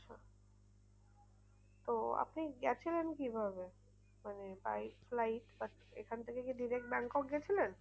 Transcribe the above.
তো আপনি গিয়েছিলেন কি ভাবে? মানে by flight এখান থেকে কি direct ব্যাংকক গিয়েছিলেন?